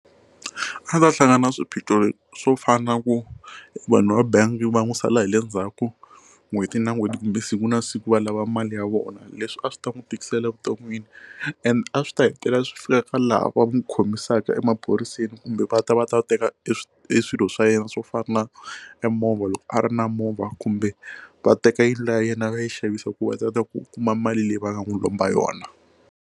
A ta hlangana na swiphiqo swo fana na ku vanhu va bangi va n'wi sala hi le ndzhaku n'hweti na n'hweti kumbe siku na siku va lava mali ya vona leswi a swi ta n'wi tikisela evuton'wini and a swi ta hetelela swi fika ka laha va n'wi khomisaka emaphoriseni kumbe va ta va ta teka e e swilo swa yena swo fana na e movha loko a ri na movha kumbe va teka yi liya ya yena yi va yi xavisa ku va ta va ta kuma mali leyi va nga n'wi lomba yona.